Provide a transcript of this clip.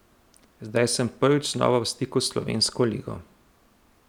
Zdaj sem prvič znova v stiku s slovensko ligo.